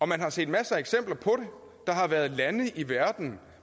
man har set masser af eksempler på der har været lande i verden